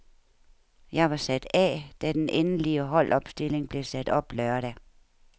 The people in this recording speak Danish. Jeg var sat af, da den endelig holdopstilling blev sat op lørdag.